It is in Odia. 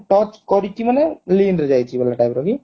touch କରିଛି ମାନେ ରେ ଯାଇଛୁ ଗୋଟେ type ର କି